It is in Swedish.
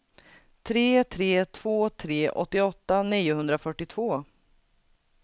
tre tre två tre åttioåtta niohundrafyrtiotvå